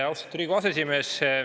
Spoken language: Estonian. Austatud Riigikogu aseesimees!